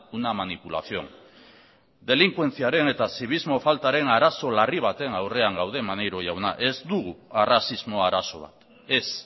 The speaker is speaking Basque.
una manipulación delinkuentziaren eta zibismo faltaren arazo larri baten aurrean gaude maneiro jauna ez dugu arrazismo arazo bat ez